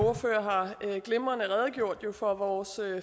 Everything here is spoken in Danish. ordfører glimrende har redegjort for vores